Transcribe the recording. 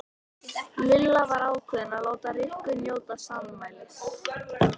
Lilla var ákveðin í að láta Rikku njóta sannmælis.